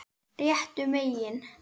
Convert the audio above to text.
Réttu megin?